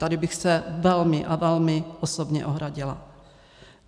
Tady bych se velmi a velmi osobně ohradila.